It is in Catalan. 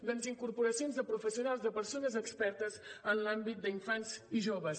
doncs incorporacions de professionals de persones expertes en l’àmbit d’infants i joves